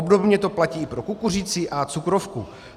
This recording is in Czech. Obdobně to platí i pro kukuřici a cukrovku.